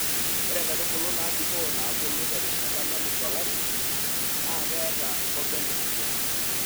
Ore nkaitubulu naabikoo naabulu terishata nalus olari naa keeta nkoben naagol.